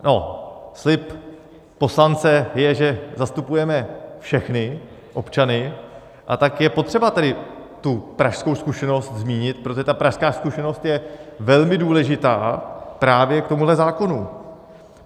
No, slib poslance je, že zastupujeme všechny občany, a tak je potřeba tedy tu pražskou zkušenost zmínit, protože ta pražská zkušenost je velmi důležitá právě k tomuto zákonu.